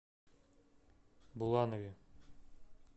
буланове